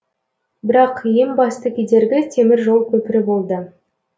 бірақ ең басты кедергі темір жол көпірі болды